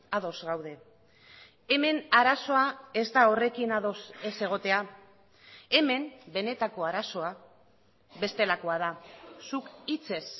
ados gaude hemen arazoa ez da horrekin ados ez egotea hemen benetako arazoa bestelakoa da zuk hitzez